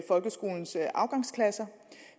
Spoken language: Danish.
folkeskolens afgangsklasser